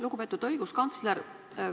Lugupeetud õiguskantsler!